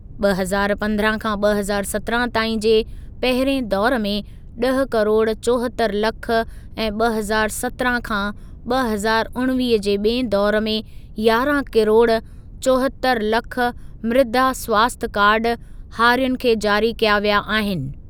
ॿ हज़ार पंद्रहं खां ॿ हज़ार सत्रहं ताईं जे पहिरिएं दौरु में ॾह किरोड़ चोहतरि लख ऐं ॿ हज़ार सत्रहं खां ॿ हज़ार उणिवीह जे ॿिएं दौरु में यारहं किरोड़ चोहतरि लख मृदा स्वास्थ्य कार्ड हारियुनि खे जारी कया विया आहिनि।